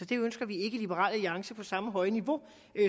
det ønsker vi ikke i liberal alliance på samme høje niveau